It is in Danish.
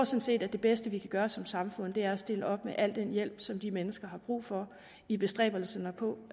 set at det bedste vi kan gøre som samfund er at stille op med al den hjælp som de mennesker har brug for i bestræbelserne på